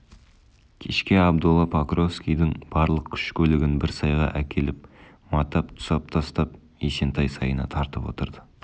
кешке абдолла покровскийдің барлық күш-көлігін бір сайға әкеліп матап-тұсап тастап есентай сайына тартып отырды